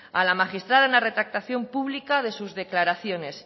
a la magistrada una retractación pública de sus declaraciones